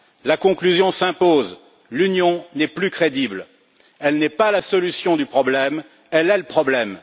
La conclusion s'impose l'Union n'est plus crédible, elle n'est pas la solution du problème, elle est le problème.